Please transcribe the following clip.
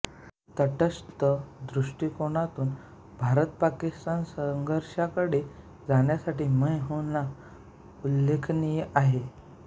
तटस्थ दृष्टिकोनातून भारतपाकिस्तान संघर्षाकडे जाण्यासाठी मैं हूं ना उल्लेखनीय आहे